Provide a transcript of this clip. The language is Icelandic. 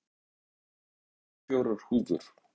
Rútur, ég kom með fimmtíu og fjórar húfur!